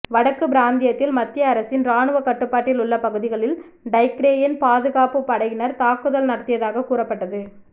வடக்கு பிராந்தியத்தில் மத்திய அரசின் இராணு கட்டுப்பாட்டில் உள்ள பகுதிகளில் டைக்ரேயன் பாதுகாப்புப் படையினர் தாக்குதல் நடத்தியதாகக் கூறப்பட்டது